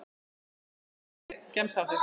pepp Hvernig gemsa áttu?